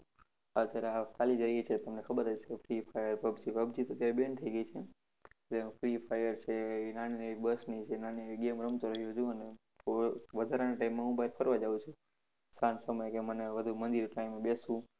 અત્યારે આ ચાલી જ રહી છે. તમને ખબર હશે. Freefire, પબજી, પબજી તો અત્યારે banned થઈ ગઈ છે. પછી free fire છે એવી નાની બસની છે. નાની એવી game રમતો રહ્યો જુઓ ને. વધારાના time માં હું ફરવા જાઉં છું. સાંજ સમયે મને વધુ હું મંદિર time બેસું.